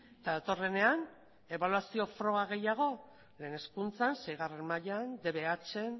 eta datorrenean ebaluazio froga gehiago lehen hezkuntzan seigarren mailan dbhn